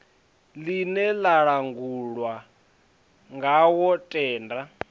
ḽine ḽa langulwa ngawo tenda